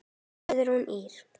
Guðrún Ýr.